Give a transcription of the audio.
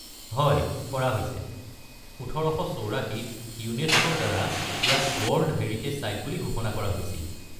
হয়, কৰা হৈছে, ১৯৮৪-ত ইউনেস্কোৰ দ্বাৰা ইয়াক ৱৰ্ল্ড হেৰিটে’জ ছাইট বুলি ঘোষণা কৰা হৈছিল।